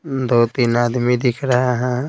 दो-तीन आदमी दिख रहा है।